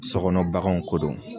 So kɔnɔ baganw ko don